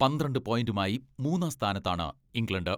പന്ത്രണ്ട് പോയന്റുമായി മൂന്നാം സ്ഥാനത്താണ് ഇംഗ്ലണ്ട്.